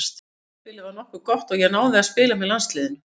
Tímabilið var nokkuð gott og ég náði að spila með landsliðinu.